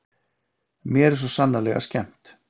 Mér er svo sannarlega skemmt.